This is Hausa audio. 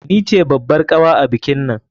Ni ce babbar kawa a bikinnan.